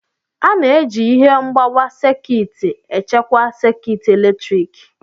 A na-eji ihe mgbawa sekit echekwa sekit eletrik.